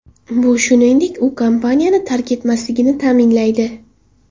Bu, shuningdek, u kompaniyani tark etmasligini ta’minlaydi.